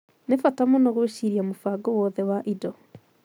Nĩ bata mũno gwĩciria mũbango wothe wa indo.